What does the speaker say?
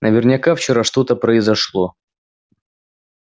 наверняка вчера что-то произошло